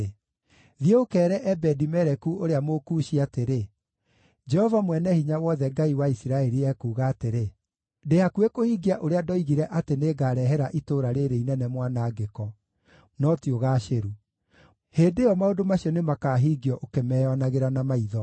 “Thiĩ ũkeere Ebedi-Meleku ũrĩa Mũkushi atĩrĩ, ‘Jehova Mwene-Hinya-Wothe, Ngai wa Isiraeli, ekuuga atĩrĩ: Ndĩ hakuhĩ kũhingia ũrĩa ndoigire atĩ nĩngarehere itũũra rĩĩrĩ inene mwanangĩko, no ti ũgaacĩru. Hĩndĩ ĩyo, maũndũ macio nĩmakahingio ũkĩmeyonagĩra na maitho.